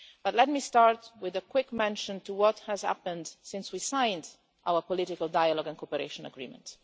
But let me start with a quick mention of what has happened since we signed our political dialogue and cooperation agreement.